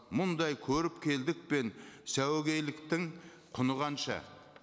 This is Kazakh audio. мұндай көріпкелдік пен сәуегейліктің құны қанша